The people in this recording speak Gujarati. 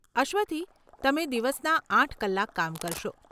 અશ્વથી, તમે દિવસના આઠ કલાક કામ કરશો.